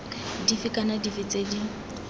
dife kana dife tse di